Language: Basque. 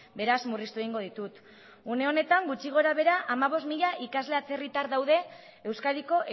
beraz murriztu egingo ditut une honetan gutxi gora behera hamabost mila ikasle atzerritar daude euskadiko